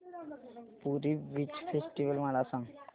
पुरी beach festival मला सांग